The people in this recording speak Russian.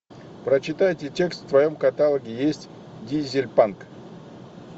прочитайте текст в твоем каталоге есть дизель панк